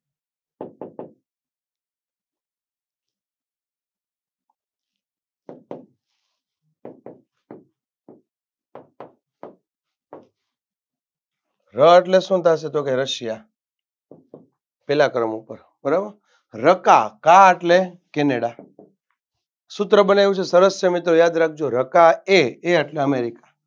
ર અટલે શું થાય એટલે કે rusia પહેલા ક્રમ ઉપર બરાબર રકા કા એટલે canada સૂત્ર બનાય્વુ છે સરસ છે મિત્રો યાદ રાખજો રકાએ એ એટલે america